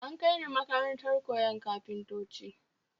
An Kai ni makarantar koyon kafintanci